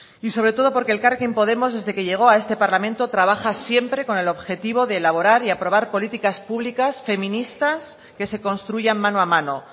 y sobre todo porque elkarrekin podemos desde que llegó a este parlamento trabaja siempre con el objetivo de elaborar y aprobar políticas públicas feministas que se construyan mano a mano